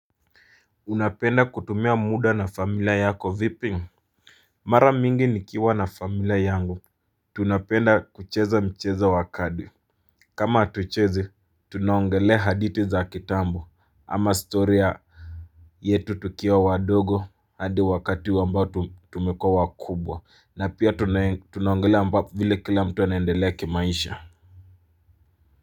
Unapenda kutumia muda na familia yako vipi mara mingi nikiwa na familia yangu tunapenda kucheza mchezo wa kadi kama hatuchezi tunaongelea haditi za kitambo ama story yetu tukiwa wadogo hadi wakati huu ambao tumekua wakubwa na pia tunaongelea ambapo vile kila mtu anaendelea kimaisha.